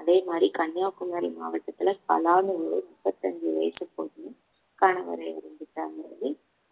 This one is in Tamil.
அதே மாதிரி கன்னியாகுமரி மாவட்டத்துல கலானு ஒரு முப்பத்தஞ்சு வயசு பொண்ணு கணவர